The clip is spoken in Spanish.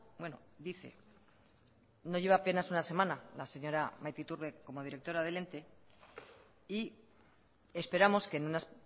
bueno dice no lleva apenas una semana la señora maite iturbe como directora del ente y esperamos que en unas